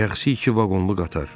Şəxsi iki vaqonlu qatar.